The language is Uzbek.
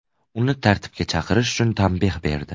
Uni tartibga chaqirish uchun tanbeh berdi.